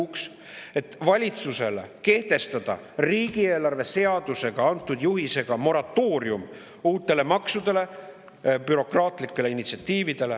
kehtestada riigieelarve seaduses valitsusele antud juhisega moratooriumi uutele maksudele ja bürokraatlikele initsiatiividele.